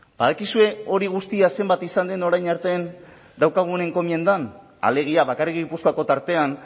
badakizue hori guztia zenbat izan den orain arte daukagun enkomiendan alegia bakarrik gipuzkoako tartean